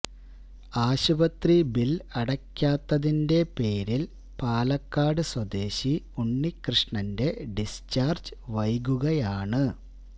ആശുപത്രി ബില് അടയ്ക്കാത്തതിന്റെ പേരില് പാലക്കാട് സ്വദേശി ഉണ്ണികൃഷ്ണന്റെ ഡിസ്ചാര്ജ്ജ് വൈകുകയാണ്